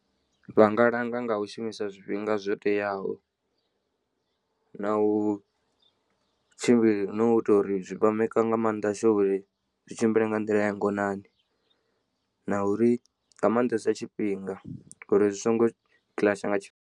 Vha nga langa nga u shumisa zwifhinga zwo teaho na u tshimbila nau ita uri zwi vha maker nga maanḓa sure uri zwi tshimbile nga nḓila ya ngonani na uri nga maanḓesa tshifhinga uri zwi songo kiḽatsha nga tshifhinga.